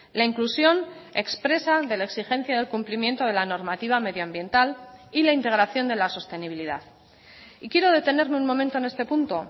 la inclusión expresa de la exigencia del cumplimiento de la normativa medioambiental y la integración de la sostenibilidad y quiero detenerme un momento en este punto